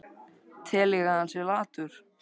Tel ég að hann sé latur?